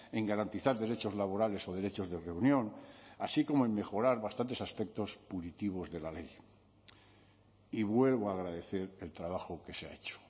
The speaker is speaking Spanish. en garantizar derechos laborales o derechos de reunión así como en mejorar bastantes aspectos punitivos de la ley y vuelvo a agradecer el trabajo que se ha hecho